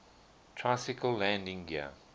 tricycle landing gear